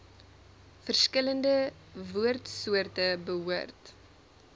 verskillende woordsoorte behoort